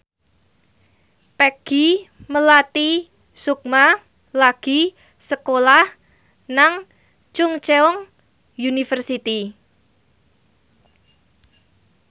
Peggy Melati Sukma lagi sekolah nang Chungceong University